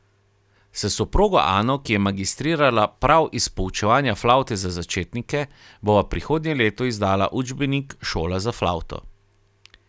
S soprogo Ano, ki je magistrirala prav iz poučevanja flavte za začetnike, bova prihodnje leto izdala učbenik Šola za flavto.